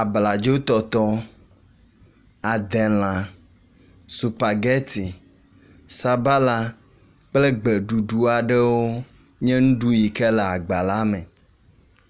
abladzo tɔtɔ, adelã, supageti, sabala kple egbe ɖuɖu aɖewo nye nuɖuɖu yi ke le agba la me